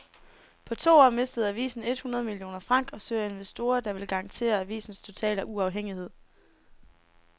På to år mistede avisen et hundrede millioner franc og søger investorer, der vil garantere avisens totale uafhængighed.